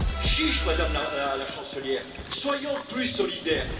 Chiche, Madame la Chancelière, soyons plus solidaires!